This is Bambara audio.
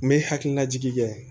N bɛ hakilinajigi kɛ